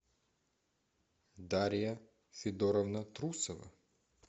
дарья федоровна трусова